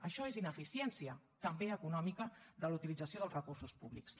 això és ineficiència també econòmica de la utilització dels recursos públics